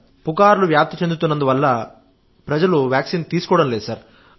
పుకార్లు వ్యాప్తి చెందుతున్నందువల్ల ప్రజలు వ్యాక్సిన్ తీసుకోవడం లేదు సార్